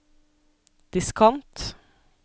diskant